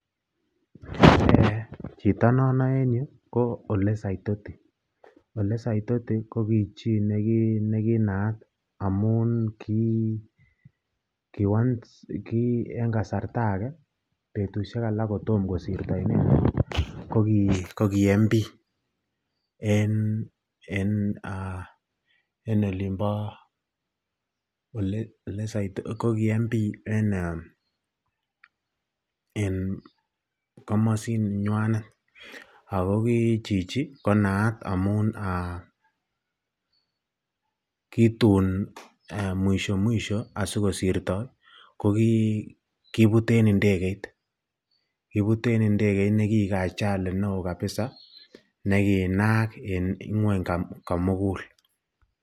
chito no noe en yuu ko ole saitoti, ole saitoti ko kichii neginaat anuum en kasarta agee betusheek alak kotom kosirto inendeet kogii member of parliament en olimboo en komosinywaanet ago kii chichi konaat amuun um aaah um kituun mwisho mwisho asigosirto kogibuut en ndegeeit kibuut en ndegeit negieek ajali neoo kabisa neginaak en ng'wony komugul.